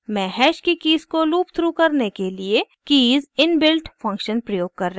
मैं हैश की कीज़ को लूपथ्रू करने के लिए कीज़ इनबिल्ट फंक्शन प्रयोग कर रही हूँ